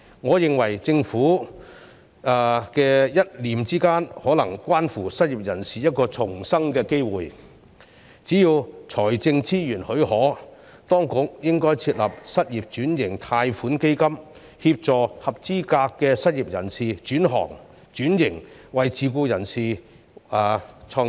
我認為政府的一念之間，便可能關乎失業人士一個重生的機會，只要財政資源許可，當局應設立失業轉型貸款基金，協助合資格失業人士轉行、轉型為自僱人士或創業。